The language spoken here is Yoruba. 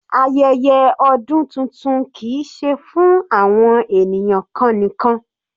Ayẹyẹ ọdún tuntun kìí ṣe fún àwọn ènìyàn kan nìkan.